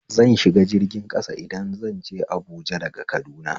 Zan shiga jirgin ƙasa idan zanje Abuja daga Kaduna